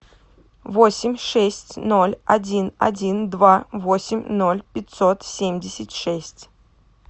восемь шесть ноль один один два восемь ноль пятьсот семьдесят шесть